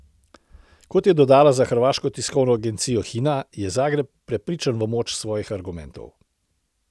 Kot je dodala za hrvaško tiskovno agencijo Hina, je Zagreb prepričan v moč svojih argumentov.